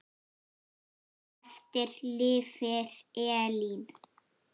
Eftir lifir Elín.